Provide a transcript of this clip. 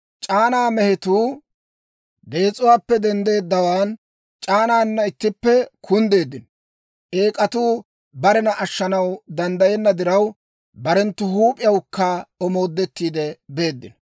C'aanaa mehetuu dees'uwaappe denddeeddawaan, c'aanaana ittippe kunddeeddino; eek'atuu barena ashshanaw danddayenna diraw, barenttu huup'iyawukka omoodettiide beeddino.